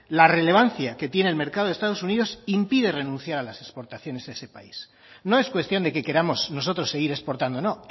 la relevancia que tiene el mercado de estados unidos impide renunciar a las exportaciones a ese país no es cuestión de que queramos nosotros seguir exportando no